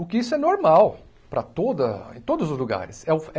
O que isso é normal para toda em todos os lugares. É o